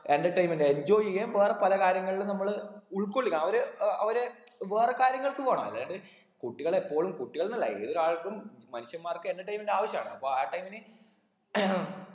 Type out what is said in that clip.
entertainment enjoy ചെയ്യാൻ വേറെ പല കാര്യങ്ങളിലും നമ്മള് ഉൾക്കൊള്ളുക ആ ഒര് ഏർ ആ ഒര് വേറെ കാര്യങ്ങൾക്കും വേണം അതായത് കുട്ടികൾ എപ്പോഴും കുട്ടികൾ എന്നല്ല ഏതൊരാൾക്കും മനുഷ്യന്മാർക്ക് entertainment ആവശ്യമാണ് അപ്പൊ ആ time ന്